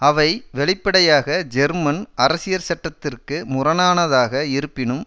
அவை வெளிப்படையாக ஜெர்மன் அரசியற்சட்டத்திற்கு முரணானதாக இருப்பினும்